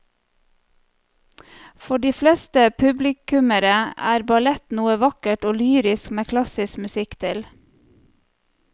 For de fleste publikummere er ballett noe vakkert og lyrisk med klassisk musikk til.